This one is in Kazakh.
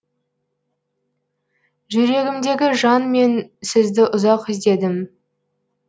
жүрегімдегі жан мен сізді ұзақ іздедім